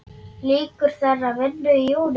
Lýkur þeirri vinnu í júní.